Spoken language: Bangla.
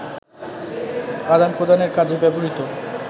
আদান-প্রদানের কাজে ব্যবহৃত